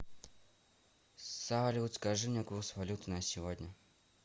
салют скажи мне курс валюты на сегодня